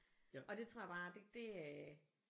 Og det tror jeg bare det det øh